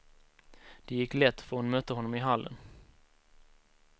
Det gick lätt, för hon mötte honom i hallen.